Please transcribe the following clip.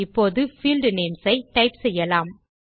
இப்போது field names ஐ type செய்யலாம்